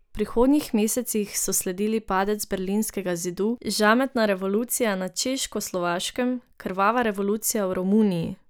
V prihodnjih mesecih so sledili padec berlinskega zidu, žametna revolucija na Češkoslovaškem, krvava revolucija v Romuniji ...